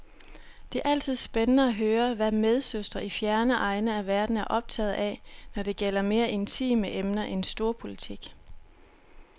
Det er altid spændende at høre, hvad medsøstre i fjerne egne af verden er optaget af, når det gælder mere intime emner end storpolitik.